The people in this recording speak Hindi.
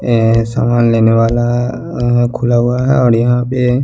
ऐसा लेने वालाअ खुला हुआ है और यहा पे--